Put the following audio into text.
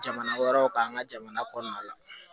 Jamana wɛrɛw kan an ka jamana kɔnɔna la